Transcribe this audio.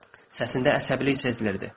Səsində əsəbilik sezilirdi.